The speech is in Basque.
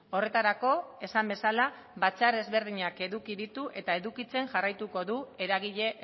horretarako esan bezala batzar ezberdinak eduki ditu eta edukitzen jarraituko du eragile